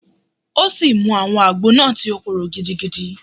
O si mu awọn ágbò náá, ti o kòro gidigidi